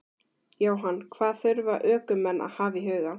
Jóhann: Hvað þurfa ökumenn að hafa í huga?